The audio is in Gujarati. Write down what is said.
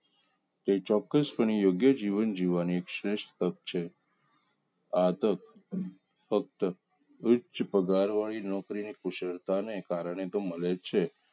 કે ચોક્કસપણે યોગ્ય જીવન જીવવાની સર્વશ્રેષ્ઠ તક છે આ તો ફક્ત ઉચ્ચ પગાર વાળી નોકરી ને કુશળતાને કારણ મળે છે